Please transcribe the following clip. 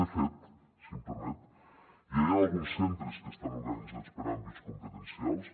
de fet si em permet ja hi han alguns centres que estan organitzats per àmbits competencials